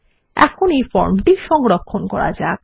এখন এই ফর্মটি সংরক্ষণ করা যাক